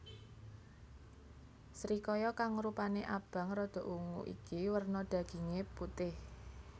Srikaya kang rupané abang rada ungu iki werna dagingé putih